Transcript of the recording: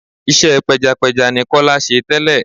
Iṣẹ́ pẹjapẹja ni Kọ́lé ṣe tẹ́lẹ̀.